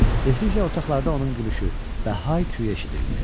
Tezliklə otaqlarda onun gülüşü və hay küyü eşidildi.